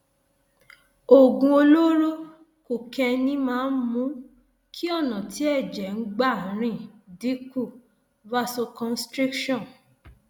oògùn olóró kokéènì máa ń mú kí ọnà tí ẹjẹ ń gbà rìn dín kù vasoconstriction